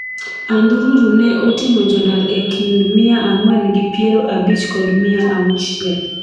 andururu ne oting'o jodar ekind mia ang'wen gi piero abich kod mia auchiel